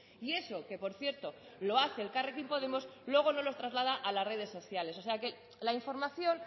y eso que por cierto lo hace elkarrekin podemos luego no lo traslada a las redes sociales o sea que la información